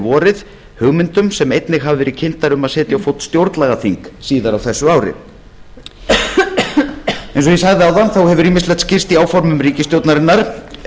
vorið hugmyndum sem einnig hafa verið kynntar um að setja á fót stjórnlagaþing síðar á þessu ári eins og ég sagði áðan hefur ýmislegt skýrst í áformum ríkisstjórnarinnar